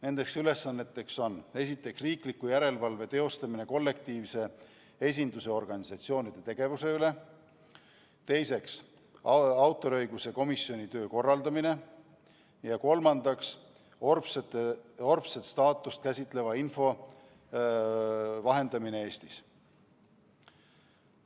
Need ülesanded on: esiteks, riikliku järelevalve teostamine kollektiivse esindamise organisatsioonide tegevuse üle; teiseks, autoriõiguse komisjoni töö korraldamine; ja kolmandaks, orbteose staatust käsitleva info vahendamine Eestis.